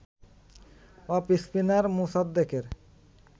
off spinner মোসাদ্দেকের